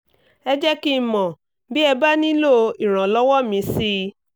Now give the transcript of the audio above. ẹ jẹ́ kí n mọ̀ bí ẹ bá nílò ìrànlọ́wọ́ mi sí i